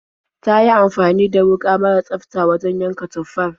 Ta yi amfani da wuƙa mara tsafta wajen yanka tufar.